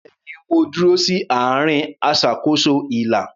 Bẹ́ẹ̀ni, mo dúró sí àárín aṣàkóso ilà.